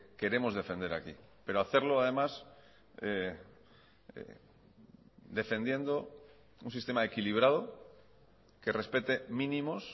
queremos defender aquí pero hacerlo además defendiendo un sistema equilibrado que respete mínimos